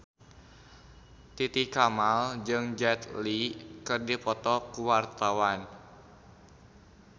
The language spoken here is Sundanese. Titi Kamal jeung Jet Li keur dipoto ku wartawan